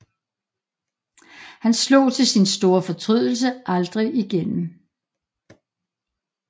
Han slog til sin store fortrydelse aldrig igennem